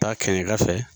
Taa kɛɲɛ ka fɛ